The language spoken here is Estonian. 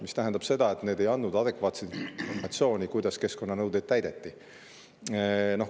See tähendab seda, et need ei andnud adekvaatset informatsiooni, kuidas keskkonnanõudeid täideti.